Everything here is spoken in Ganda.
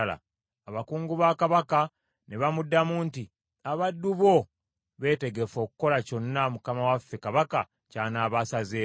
Abakungu ba kabaka ne bamuddamu nti, “Abaddu bo beetegefu okukola kyonna, mukama waffe kabaka ky’anaaba asazeewo.”